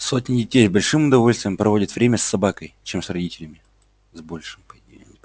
сотни детей с большим удовольствием проводят время с собакой чем с родителями